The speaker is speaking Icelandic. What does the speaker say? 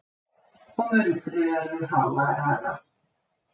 Og muldrið verður háværara.